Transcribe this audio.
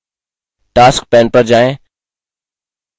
task pane पर जाएँ